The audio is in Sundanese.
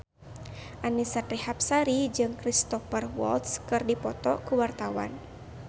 Annisa Trihapsari jeung Cristhoper Waltz keur dipoto ku wartawan